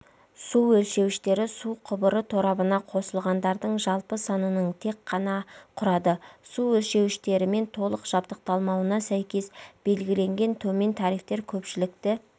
су өлшеуіштері су құбыры торабына қосылғандардың жалпы санының тек ғана құрады су өлшеуіштерімен толық жабдықталмауына сәйкес белгіленген төмен тарифтер көпшілікті